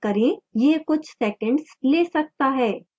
यह कुछ सेकेंड्स ले सकता है